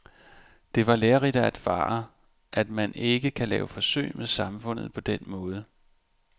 Det var lærerigt at erfare, at man ikke kan lave forsøg med samfundet på den måde.